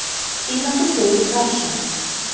Þýðandi Friðrik Rafnsson.